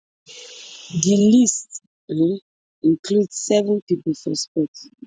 di list um include seven pipo for sports